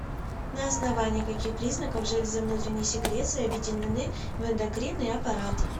на основании каких признаков железы внутренней секреции объединены в эндокринный аппарат